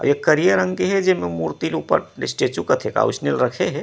अउ ए करिया रंग के हे जेमे मूर्ति ल ऊपर स्टेचू कथे का ओइसने ल रखे हे।